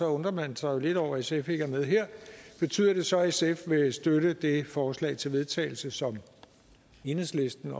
undrer man sig lidt over at sf ikke er med her betyder det så at sf vil støtte det forslag til vedtagelse som enhedslisten